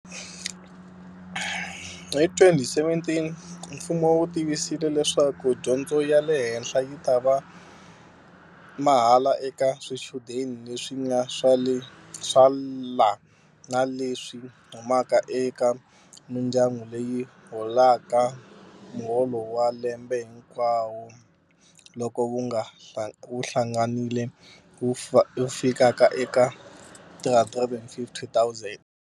Hi 2017 mfumo wu tivisile leswaku dyondzo ya le henhla yi ta va mahala eka swichudeni leswi nga swela na leswi humaka eka mindyangu leyi holaka mu holo wa lembe hinkwawo loko wu hlanganile wu fikaka eka R350 000.